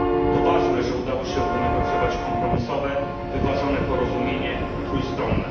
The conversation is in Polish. To ważne, że udało się wynegocjować kompromisowe, wyważone porozumienie trójstronne.